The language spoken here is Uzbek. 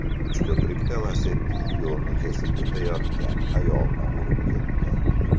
Uchko‘prikda Lacetti yo‘lni kesib o‘tayotgan ayolni urib ketdi.